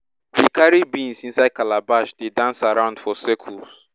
we carry beans inside calabashes dey dance around for circles